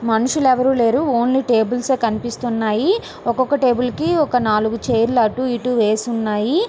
మనుషులు ఎవరు లేరు. ఓన్లీ టేబుల్ కనిపిస్తున్నాయి. ఒక ఒక టేబుల్ కీ నాలుగు చైర్స్ అటు ఇటు వేసి ఉన్నాయి.